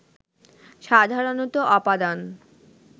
সাধারণত অপাদান